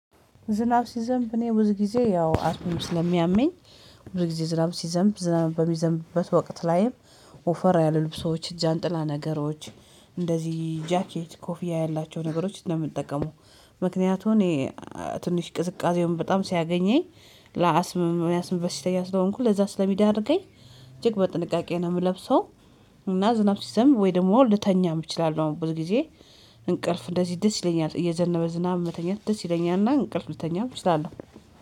ዝናብ ሲዘንብ እኔ ብዙ ጊዜ ያው አስምም ስለሚያመኝ። ብዙ ጊዜ ዝናብ ሲዘንብ ዝናብ በሚዘንብበት ወቅት ላይም ኦፈር ያሉ ልብሶች፣ ጃንጥላ ነገሮች፣ እንደዚህ ጃኬት ኮፍያ ያላቸው ነገሮች ነው የምጠቀመው። ምክንያቱም ትንሽ ቅዝቃዜውን በጣም ሲያገኘኝ ለአስምም የአስም በሽተኛ ስለሆንኩ ለዛ ስለሚዳርገኝ እጅግ በጥንቃቄ ነው የምለብሰው። እና ዝናብ ሲዘምብ ወይ ደግሞ ልተኛም እችላለሁ ብዙ ጊዜ። እንቅልፍ እንደዚህ ደስ ይለኛል እየዘነበ ዝናብ መተኛት ደስ ይለኛል። እና እንቅልፍ ልተኛም እችላለሁ፤